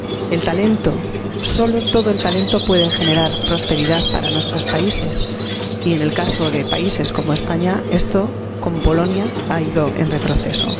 El talento, solo el talento puede generar prosperidad para nuestros países y, en el caso de países como España, esto, con Bolonia, ha ido en retroceso.